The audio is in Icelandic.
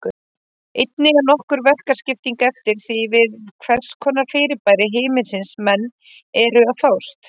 Einnig er nokkur verkaskipting eftir því við hvers konar fyrirbæri himinsins menn eru að fást.